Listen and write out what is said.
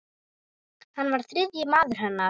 Hann var þriðji maður hennar.